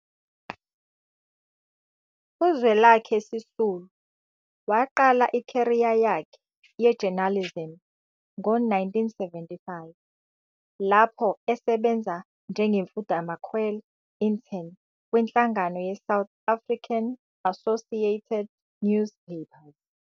UZwelakhe Sisulu waqala i-career yakhe ye-journalism ngo-1975 lapho esebenza njengemfundamakhwela, intern, kwinhlangano ye-South African Associated Newspapers.